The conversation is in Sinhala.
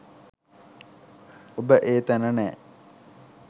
ඔබ ඒ තැන නෑ.